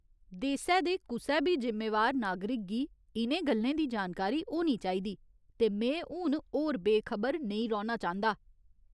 देसै दे कुसै बी जिम्मेवार नागरिक गी इ'नें गल्लें दी जानकारी होनी चाहिदी, ते में हून होर बेखबर नेईं रौह्‌ना चांह्दा।